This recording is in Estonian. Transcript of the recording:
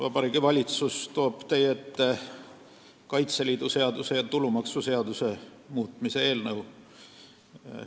Vabariigi Valitsus toob teie ette Kaitseliidu seaduse ja tulumaksuseaduse muutmise seaduse eelnõu.